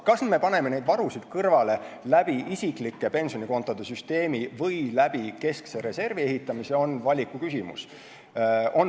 Kas me paneme neid varusid kõrvale läbi isiklike pensionikontode süsteemi või keskse reservi ehitamise kaudu, on valiku küsimus.